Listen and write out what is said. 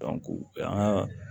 an ka